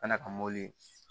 Kana ka mɔ